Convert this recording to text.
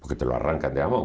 Porque te arrancam de a mão